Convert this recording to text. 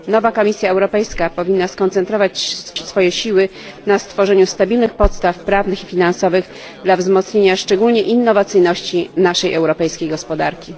Nowa Komisja Europejska powinna skoncentrować swoje siły na stworzeniu stabilnych podstaw prawnych i finansowych dla wzmocnienia szczególnie innowacyjności naszej europejskiej gospodarki.